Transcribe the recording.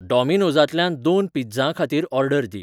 डॉमिनोजांतल्यान दोन पिझ्झां खातीर ऑर्डर दी